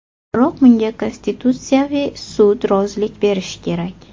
Biroq bunga Konstitutsiyaviy sud rozilik berishi kerak.